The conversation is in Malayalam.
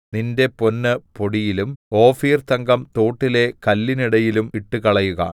നിന്റെ പൊന്ന് പൊടിയിലും ഓഫീർതങ്കം തോട്ടിലെ കല്ലിനിടയിലും ഇട്ടുകളയുക